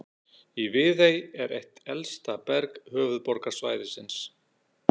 Í Viðey er eitt elsta berg höfuðborgarsvæðisins.